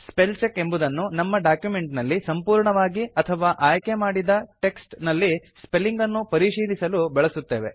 spell check ಎಂಬುದನ್ನು ನಮ್ಮ document ನಲ್ಲಿ ಸಂಪೂರ್ಣವಾಗಿ ಅಥವಾ ಆಯ್ಕೆ ಮಾಡಿದ ಟೆಕ್ಸ್ಟ್ ನಲ್ಲಿ ಸ್ಪೆಲಿಂಗ್ ಅನ್ನು ಪರಿಶೀಲಿಸಲು ಬಳಸುತ್ತೇವೆ